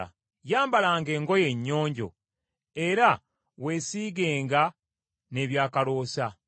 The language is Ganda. Yambalanga engoye ennyonjo , era weesiigenga n’ebyakaloosa.